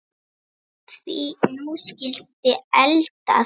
Því nú skyldi eldað.